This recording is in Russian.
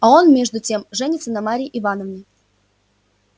а он между тем женится на марье ивановне